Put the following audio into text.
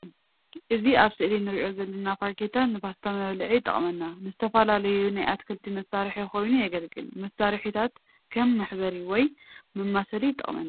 ኦዚ አብ ስእሊ ነርኦ ዘለና ፋሪኼታ ንባስታ መብልዒ ይጠቅመና። ንዝተፋለዪ ናይ አትኽሊ መሳርሒ ኾይኑ የገልገል መሳሪሒታት ከም መሕበሪ ወይ መማሰሊ ይጨቅመና።